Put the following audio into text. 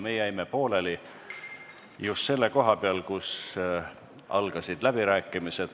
Me jäime pooleli just selle koha peal, kus algasid läbirääkimised.